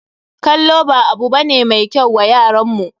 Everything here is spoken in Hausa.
Kallo ba abu ba ne mai kyau wa yaran mu.